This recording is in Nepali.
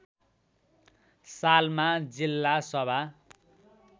सालमा जिल्ला सभा